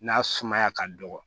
N'a sumaya ka dɔgɔ